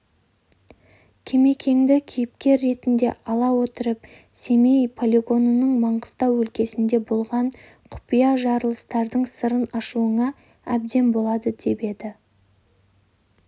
кемекеңді кейіпкер ретінде ала отырып семей полигонының маңғыстау өлкесінде болған құпия жарылыстардың сырын ашуыңа әбден болады деп еді